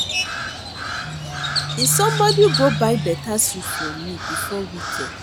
I somebody go buy beta suit for me before weekend